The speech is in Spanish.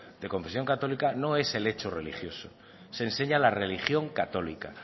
de confesión católica no es el hecho religioso se enseña la religión católica